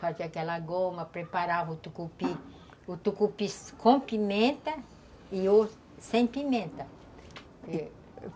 Fazia aquela goma, preparava o tucupi, o tucupi com pimenta e o sem pimenta.